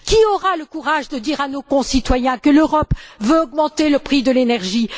Qui aura le courage de dire à nos concitoyens que l'Europe veut augmenter le prix de l'énergie?